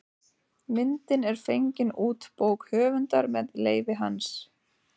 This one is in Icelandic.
Myndin er fengin út bók höfundar með leyfi hans.